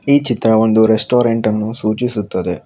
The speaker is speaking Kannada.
ಈ ಚಿತ್ರ ಒಂದು ರೆಸ್ಟೋರೆಂಟ್ ಅನ್ನು ಸೂಚಿಸುತ್ತದೆ.